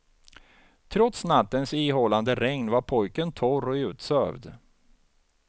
Trots nattens ihållande regn var pojken torr och utsövd.